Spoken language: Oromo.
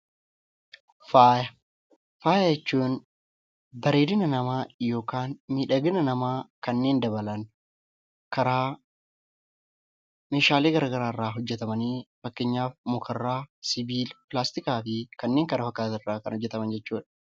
Faaya jechuun bareedina namaa yookiin miidhagina namaa kanneen dabalan karaa meeshaalee garaagaraa irraa hojjatamanii fakkeenyaaf mukarraa, sibiila, pilaastikaa fi kanneen kana fakkaatan irraa kan hojjataman jechuudha.